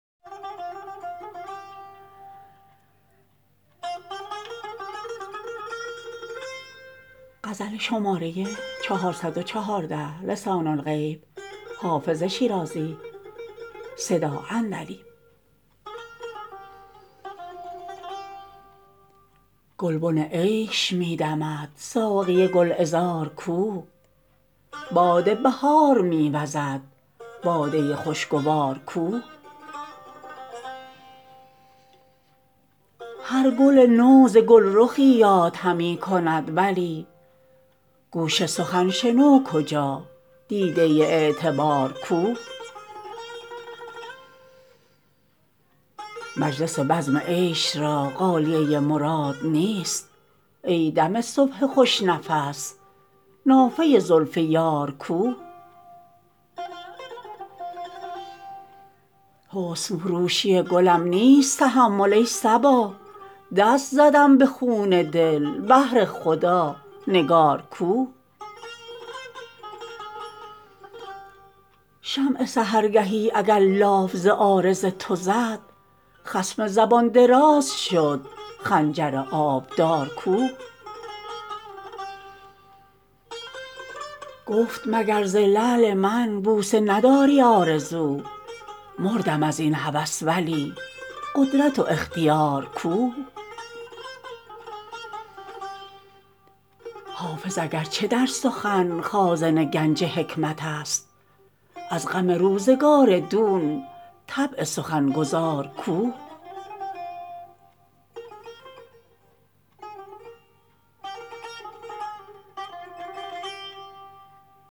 گلبن عیش می دمد ساقی گل عذار کو باد بهار می وزد باده خوش گوار کو هر گل نو ز گل رخی یاد همی کند ولی گوش سخن شنو کجا دیده اعتبار کو مجلس بزم عیش را غالیه مراد نیست ای دم صبح خوش نفس نافه زلف یار کو حسن فروشی گلم نیست تحمل ای صبا دست زدم به خون دل بهر خدا نگار کو شمع سحرگهی اگر لاف ز عارض تو زد خصم زبان دراز شد خنجر آبدار کو گفت مگر ز لعل من بوسه نداری آرزو مردم از این هوس ولی قدرت و اختیار کو حافظ اگر چه در سخن خازن گنج حکمت است از غم روزگار دون طبع سخن گزار کو